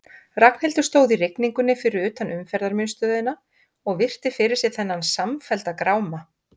Ragnhildur stóð í rigningunni fyrir utan Umferðarmiðstöðina og virti fyrir sér þennan samfellda gráma.